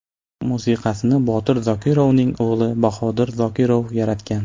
Musiqasini Botir Zokirovning o‘g‘li Bahodir Zokirov yaratgan.